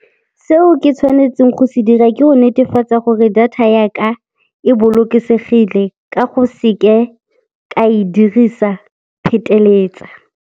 Seo ke tshwanetseng go se dira, ke go netefatsa gore data ya ka e bolokesegile ka go seke ka e dirisa pheteletsa.